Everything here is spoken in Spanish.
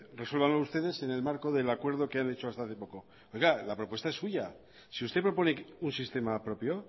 resuélvanlo ustedes en el marco del acuerdo que han hecho hasta hace poco pero claro la propuesta es suya si usted propone un sistema propio